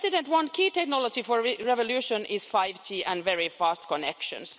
One key technology for revolution is 5G and very fast connections.